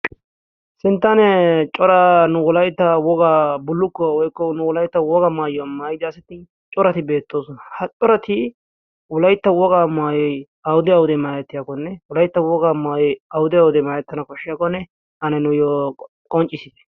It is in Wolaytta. sinttanee coraa nu wolayta wogaa bullukkuwa woykko nu wolaita wogaa maayyuwaa mayda asati corati beettoosona ha corati ulaytta wogaa maay awude awudee maarettiyaa konne ulaytta wogaa maay awude awudee maarettana koshshiyaa konne ane nuuyyo qonccissiite